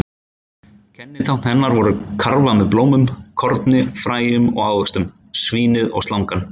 Kennitákn hennar voru: karfa með blómum, korni, fræjum og ávöxtum, svínið og slangan.